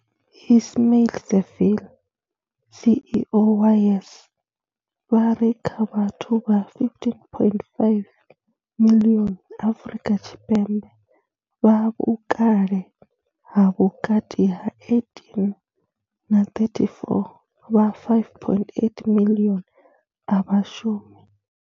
Ismail-Saville CEO wa YES, vha ri kha vhathu vha 15.5 miḽioni Afrika Tshipembe vha vhukale ha vhukati ha 18 na 34, vha 5.8 miḽioni a vha shumi.